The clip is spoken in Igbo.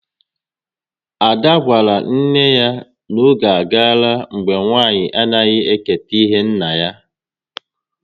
Ada gwara nne ya n'oge agala mgbe nwa nwanyị anaghị eketa ihe nna ya